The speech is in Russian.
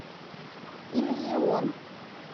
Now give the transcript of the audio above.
иллюзион